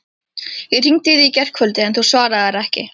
Ég hringdi í þig í gærkvöldi, en þú svaraðir ekki.